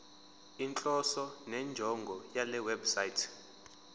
inhloso nenjongo yalewebsite